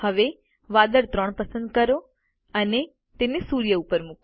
હવે વાદળ 3 પસંદ કરો અને તેને સૂર્ય ઉપર મૂકો